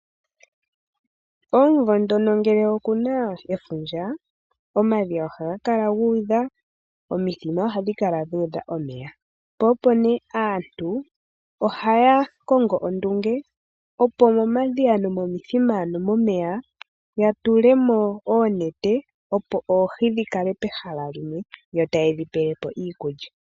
Omumvo ngono ngele okuna efundja, omadhiya ohaga kala guudha omithima ohadhi kala dhuudha omeya. Aantu ohaya kongo ondunge opo momadhiya nomithima yatulemo oonete opo oohi dhikale pehala limwe, yo tayedhi pelepo iikulya.